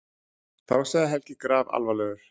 Þá sagði Helgi grafalvarlegur